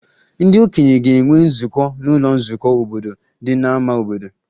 Ndị okenye ga-enwe nzukọ n'ụlọ nzukọ obodo dị n'ámá obodo